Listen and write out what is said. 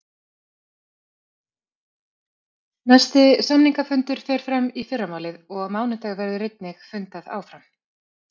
Næsti samningafundur fer fram í fyrramálið og á mánudag verður einnig fundað áfram.